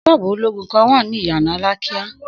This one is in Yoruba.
Sóòbù olóògùn kan wá ní ìyànà Alákíá